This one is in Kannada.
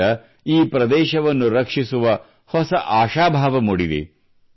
ಇದರಿಂದ ಈ ಪ್ರದೇಶವನ್ನು ರಕ್ಷಿಸುವ ಹೊಸ ಆಶಾಭಾವ ಮೂಡಿದೆ